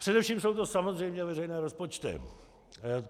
Především jsou to samozřejmě veřejné rozpočty.